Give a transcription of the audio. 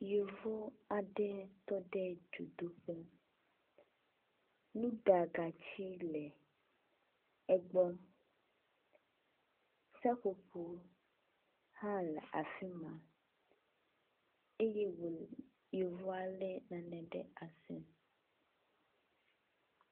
Yevu aɖe tɔ ɖe dzodoƒe. Nuɖagatsi le egbɔ. Seƒoƒo hã le afi ma eye wo le yevua le nane ɖe asi.